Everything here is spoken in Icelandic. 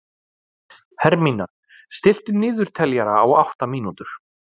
Hermína, stilltu niðurteljara á átta mínútur.